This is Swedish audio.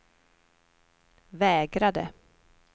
vägrade